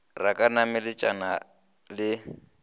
re a ka nametšana le